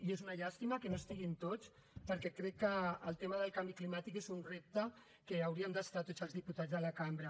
i és una llàstima que no hi estiguin tots perquè crec que el tema del canvi climàtic és un repte amb què hauríem d’estar tots els diputats a la cambra